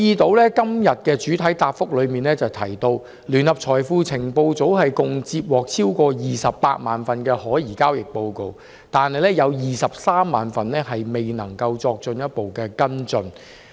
局長在這項的主體答覆中提到，聯合財富情報組共接獲超過280000宗可疑交易報告，當中238000宗未有足夠資料作進一步跟進。